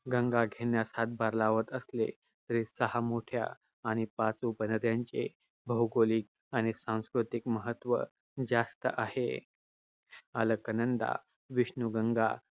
गंगा घेण्यास हातभार लावत असले तरी सहा मोठ्या आणि पाच उपनद्यांचे भौगोलिक आणि सांस्कृतिक महत्त्व जास्त आहे. अलकनंदा विष्णूुगंगा